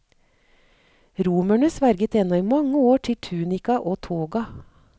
Romerene sverget ennå i mange år til tunika og toga.